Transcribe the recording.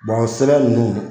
sɛbɛn ninnu